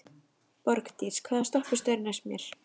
Borgdís, hvaða stoppistöð er næst mér?